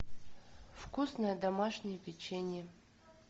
вкусное домашнее печенье